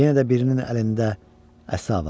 Yenə də birinin əlində əsa var.